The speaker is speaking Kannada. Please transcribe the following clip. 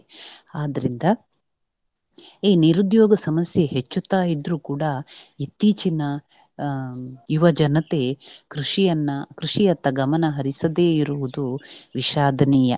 ಆದ್ರಿಂದ ಈ ನಿರುದ್ಯೋಗ ಸಮಸ್ಯೆ ಹೆಚ್ಚುತ್ತಾ ಇದ್ರೂ ಕೂಡ ಇತ್ತೀಚಿನ ಆಹ್ ಯುವ ಜನತೆ ಕೃಷಿಯನ್ನ ಕೃಷಿಯತ್ತ ಗಮನ ಹರಿಸದೇ ಇರುವುದು ವಿಷಾದನೀಯ.